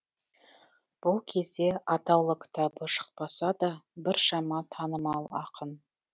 бұл кезде атаулы кітабы шықпаса да біршама танымал ақын